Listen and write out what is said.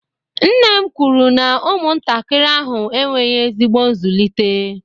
nne m kwuru na ụmụntakịrị ahụ enweghị ezigbo nzụlite